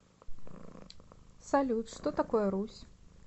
салют что такое русь